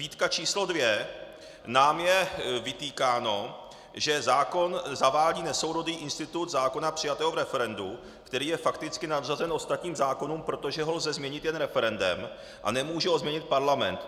Výtka číslo dvě: Nám je vytýkáno, že zákon zavádí nesourodý institut zákona přijatého v referendu, který je fakticky nadřazen ostatním zákonům, protože ho lze změnit jen referendem a nemůže ho změnit parlament.